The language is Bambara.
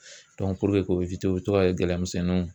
puruke k'o u bɛ to ka kɛ gɛlɛya misɛnninw na.